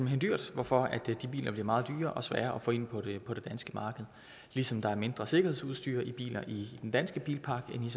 hen dyrt hvorfor de biler bliver meget dyrere og sværere at få ind på det danske marked ligesom der er mindre sikkerhedsudstyr i bilerne i den danske bilpark end